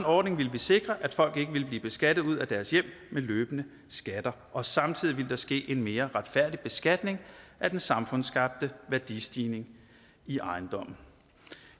ordning ville vi sikre at folk ikke ville blive beskattet ud af deres hjem med løbende skatter og samtidig ville der ske en mere retfærdig beskatning af den samfundsskabte værdistigning i ejendomme